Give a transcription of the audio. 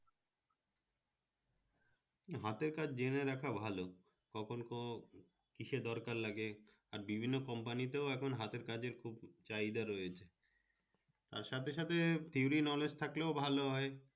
হাতের কাজ জেনে রাখা ভালো কখন কো কিসে দরকার লাগে? আর বিভিন্ন company তে ও এখন হাতের কাজের খুভ চাহিদা রয়েছে, আর সাথে সাথে theory knowledge থাকলে ও ভালো হয়